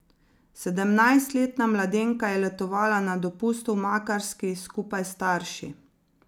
Sedemnajstletna mladenka je letovala na dopustu v Makarski skupaj s starši.